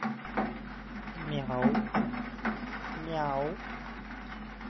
мяу-мяу